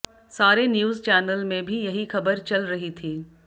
सारे news channel में भी यही खबर चल रही थी